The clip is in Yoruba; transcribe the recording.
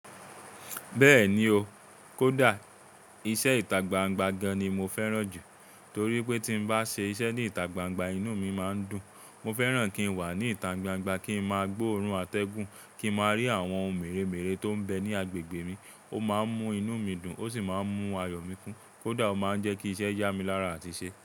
Bẹ́ẹ̀ni o, kódà iṣẹ́ ìta gbangba gan ni mo fẹ́ràn jù torí pé tí n bá ṣe iṣẹ́ ní ìta gbangba inú mi máa ń dùn. Mo fẹ́ràn kí n wà ní ìta gbangba, kí n máa gbóòórùn atẹ́gùn, kí n máa rí àwọn ohun mèremère tó ń bẹ ní agbègbè mi. Ó máa ń mú inú mi dùn, ó sì máa ń mú ayọ̀ mi kún. Kódà ó máa ń jẹ́ kí iṣẹ́ yá mi lára àti ṣe.